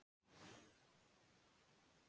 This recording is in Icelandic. Er þá hægt að deila með núlli?